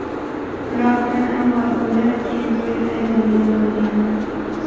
Biroq, men avval o‘ylab, keyin duet aytadigan bo‘lganman.